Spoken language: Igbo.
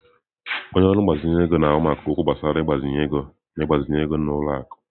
Onye ọrụ mgbazinye ego na-ahụ maka okwu gbasara ịgbazinye ego na ịgbazinye ego n'ụlọ akụ.